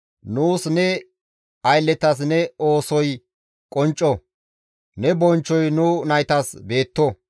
Nuus ne aylletas ne oosoy qoncco; ne bonchchoy nu naytas beetto.